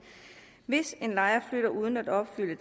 hvis en lejer flytter uden at opfylde